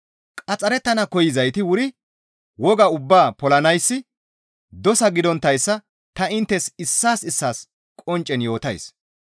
Qaxxarettana koyzayti wuri wogaa ubbaa polanayssi dosa gidonttayssa ta inttes issaas issaas qonccen yootays.